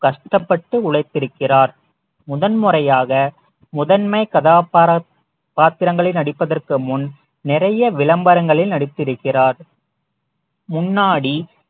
கஷ்டப்பட்டு உழைத்திருக்கிறார் முதன்முறையாக முதன்மை கதாபாத்திர காத்திரங்களில் நடிப்பதற்கு முன் நிறைய விளம்பரங்களில் நடித்திருக்கிறார் முன்னாடி